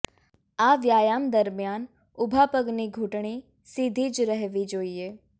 આ વ્યાયામ દરમિયાન ઊભા પગની ઘૂંટણની સીધી જ રહેવી જોઈએ